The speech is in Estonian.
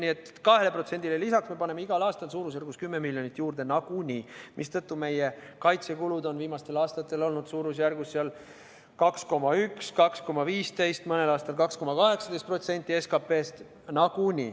Nii et 2%-le me paneme igal aastal umbes 10 miljonit juurde nagunii, mistõttu meie kaitsekulud on viimastel aastatel olnud umbes 2,1–2,15%, mõnel aastal 2,18% SKP-st.